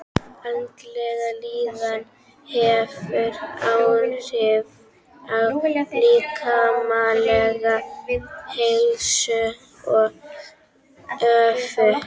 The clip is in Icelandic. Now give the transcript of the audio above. Andleg líðan hefur áhrif á líkamlega heilsu og öfugt.